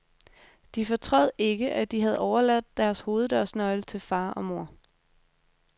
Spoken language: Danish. De fortrød ikke, at de havde overladt deres hoveddørsnøgle til far og mor.